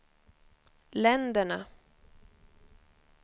länderna